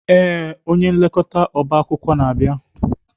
Ee, onye nlekọta ọba akwụkwọ na-abịa.